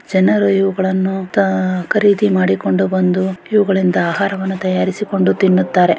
ಜನರು ಇವುಗಲ್ಲನು ಖರೀದಿ ಮಾಡಿಕೊಂದು ಬಂದು ಈವಾಗಳಿಂದ ಆಹಾರ ವನ್ನಾ ತಯಾರಿಸಿಕೊಂಡು ತಿನ್ನುತ್ತಾರೆ.